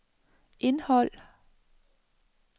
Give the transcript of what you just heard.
indhold